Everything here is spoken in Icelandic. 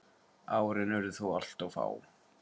Árin urðu þó alltof fá.